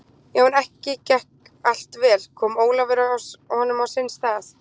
Já, en gekk ekki allt vel, kom Ólafur honum á sinn stað?